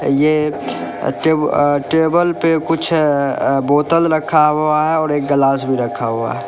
ये अ टेब अ टेबल पे कुछ अ बोतल रखा हुआ है और एक गलास भी रखा हुआ है।